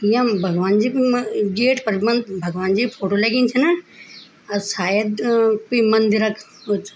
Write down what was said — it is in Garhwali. यम भगवान् जी म गेट पर म भगवान् जी क फोटो लगीं छिन अर सायद कुई मंदिर क कुछ --